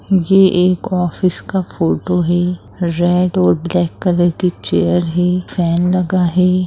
ये एक ऑफिस का फोटो है रेड और ब्लैक कलर के चेयर है फैन लगा है।